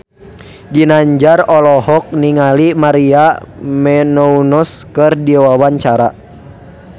Ginanjar olohok ningali Maria Menounos keur diwawancara